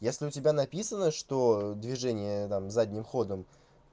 если у тебя написано что движение там задним ходом